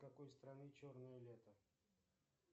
какой страны черное лето